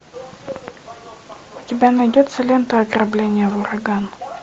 у тебя найдется лента ограбление в ураган